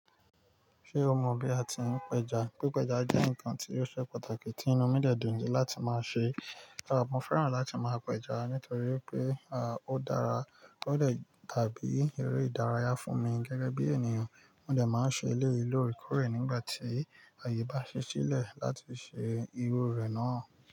Ṣé o mọ bí a ti ń pẹja? Pi pẹja jẹ́ ǹkan tí ó ṣe pàtàkì tí inú mi dẹ̀ dùn ni láti máa ṣe. A mo fẹ́ràn láti máa pẹja nítorí pé, à, ó dára, ó dẹ̀ tàbí eré ìdárayá fún mi. Gẹ́gẹ́ bí ènìyàn, mo dẹ̀ máa ń ṣe eléyìí lórekore nígbà tí àyè bá ṣi sile láti ṣe irú re náà.